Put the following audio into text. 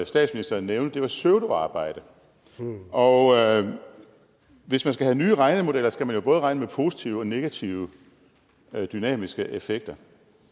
statsministeren nævnte var pseudoarbejde og hvis man skal have nye regnemodeller skal man jo både regne med positive og negative dynamiske effekter